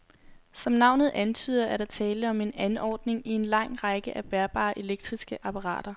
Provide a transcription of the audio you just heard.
Som navnet antyder, er der tale om en anordning i en lang række af bærbare elektriske apparater.